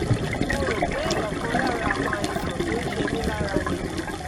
mo rò pé ọ̀kan lára àwọn àìsàn tó ń ṣe mí lára ni